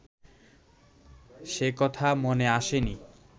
সে কথা মনে আসেনি